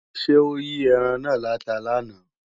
Ṣé ó yí ẹran náà láta làná